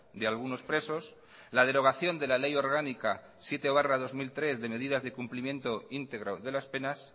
de algunos presos la derogación de la ley orgánica siete barra dos mil tres de medidas de cumplimiento íntegro de las penas